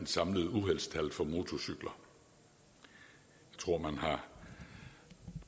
samlede uheldstal for motorcykler man har